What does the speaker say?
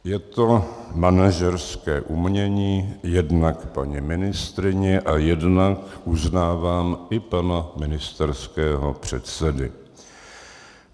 Je to manažerské umění jednak paní ministryně a jednak, uznávám, i pana ministerského předsedy.